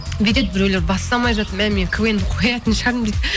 бүйтеді біреулер бастамай жатып мә мен квн ді қоятын шығармын дейді